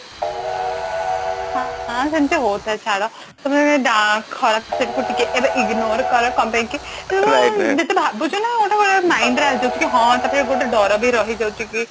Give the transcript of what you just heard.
ହଁ ସେମତି ହଉଥାଏ ଛାଡ ଖରାପ side କୁ ଟିକେ ignore କର କଣ ପାଇଁ କି ଭାବୁଛୁ ନା ଗୋଟେ mind ରେ ଆଣି ଦଉଛୁ କି ହଁ ତାପରେ ଗୋଟେ ଡର ବି ରହି ଯାଉଛି କି